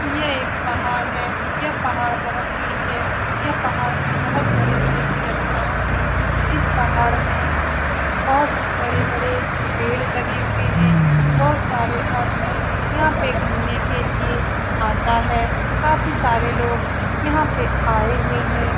यह एक पहाड़ है यह पहाड़ बहुत बड़ी है यह पहाड़ में बहुत बड़े-बड़े चट्टान है इस पहाड़ में बहुत बड़े-बड़े पैर लगे हुए हैं बहुत सारे आदमी यहाँ पे घुमने के लिए आते हैं काफी सारे लोग यहाँ पे आए हुए हैं ।